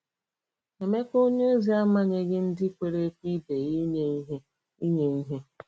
Emeka onyeozi amanyeghị ndị kwere ekwe ibe ya inye ihe. inye ihe.